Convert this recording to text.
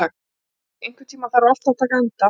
Salný, einhvern tímann þarf allt að taka enda.